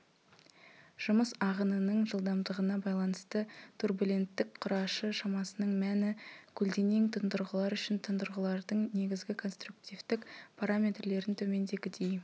жұмыс ағынының жылдамдығына байланысты турбуленттік құрашы шамасының мәні көлденең тұндырғылар үшін тұндырғылардың негізгі конструктивтік параметрлерін төмендегідей